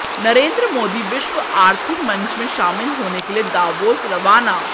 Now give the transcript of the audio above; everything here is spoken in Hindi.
नरेंद्र मोदी विश्व आर्थिक मंच में शामिल होने के लिए दावोस रवाना